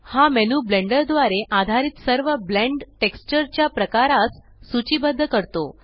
हा menu blender द्वारे आधारित सर्व ब्लेण्ड टेक्सचर च्या प्रकारास सूचीबद्ध करतो